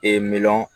Ee miliyɔn